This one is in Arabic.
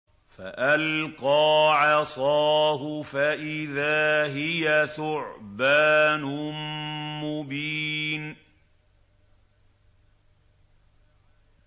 فَأَلْقَىٰ عَصَاهُ فَإِذَا هِيَ ثُعْبَانٌ مُّبِينٌ